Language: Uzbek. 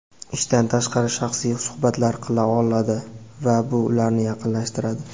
ishdan tashqari shaxsiy suhbatlar qila oladi va bu ularni yaqinlashtiradi.